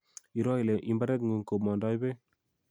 Iroo ile imbaretng'ung komondoi beek